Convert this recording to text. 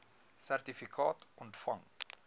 sertifikaat ontvang